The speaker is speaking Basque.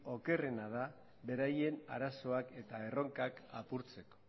okerrena da beraien arazoak eta erronkak apurtzeko